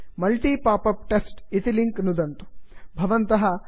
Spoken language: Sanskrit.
multi popup test multi pop up test इति लिंक् नुदन्तु